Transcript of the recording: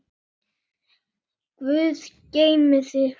Guð geymi þig.